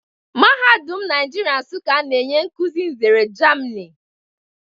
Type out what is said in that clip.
Mahadum Nigeria Nsukka na-enye nkuzi nzere Germini